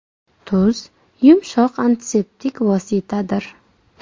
Tuz yumshoq antiseptik vositadir.